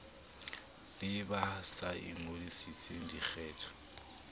le ba sa ingodisetseng dikgetho